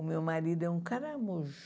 O meu marido é um caramujo.